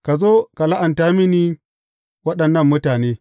Ka zo ka la’anta mini waɗannan mutane.